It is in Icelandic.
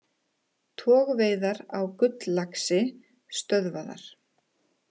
Togveiðar á gulllaxi stöðvaðar